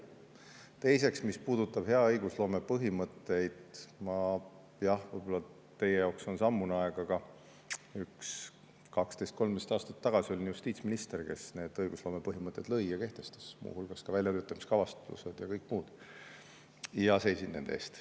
Teiseks, mis puudutab hea õigusloome põhimõtteid, jah, võib-olla teie jaoks on see ammune aeg, aga 12–13 aastat tagasi ma olin justiitsminister, kes need õigusloome põhimõtted lõi ja kehtestas, muu hulgas ka väljatöötamiskavatsused ja kõik muud, ja seisin nende eest.